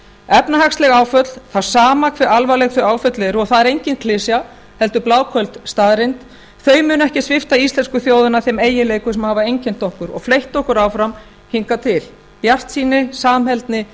efnahagsleg áföll það er sama hve alvarleg þau áföll eru og það er engin klisja heldur bláköld staðreynd munu ekki svipta íslensku þjóðina þeim eiginleikum sem hafa einkennt okkur og fleytt okkur áfram hingað til bjartsýni samheldni